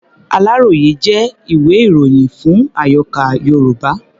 Aláròyé jẹ́ ìwé-ìròyìn fún àyọká̀ Yorùbá.